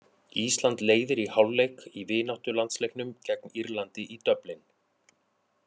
Ísland leiðir í hálfleik í vináttulandsleiknum gegn Írlandi í Dublin.